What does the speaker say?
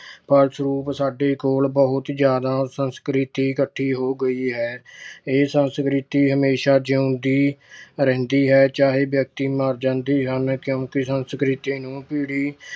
ਫਲਸਰੂਪ ਸਾਡੇ ਕੋਲ ਬਹੁਤ ਜਿਆਦਾ ਸੰਸਕ੍ਰਿਤੀ ਇੱਕਠੀ ਹੋ ਗਈ ਹੈ। ਇਹ ਸੰਸਕ੍ਰਿਤੀ ਹਮੇਸ਼ਾ ਜਿਉਂਦੀ ਰਹਿੰਦੀ ਹੈ ਚਾਹੇ ਵਿਅਕਤੀ ਮਰ ਜਾਂਦੇ ਹਨ ਕਿਉਂਕਿ ਸੰਸਕ੍ਰਿਤੀ ਨੂੰ ਪੀੜੀ